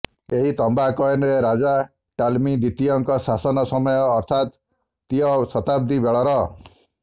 ଏହି ତାମ୍ବା କଏନ ରାଜା ଟାଁଲମି ଦ୍ବିତୀୟଙ୍କ ଶାସନ ସମୟ ଅର୍ଥାତ୍ ତ୍ତୀୟ ଶତାବ୍ଦୀ ବେଳର